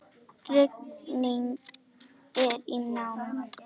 Rigning er í nánd.